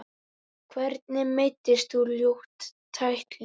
Hvernig meiddist þú, ljót tækling?